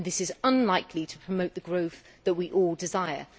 This is unlikely to promote the growth that we all desire.